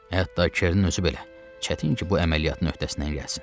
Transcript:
Hətta Kernin özü belə çətin ki, bu əməliyyatın öhdəsindən gəlsin.